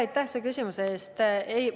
Aitäh selle küsimuse eest!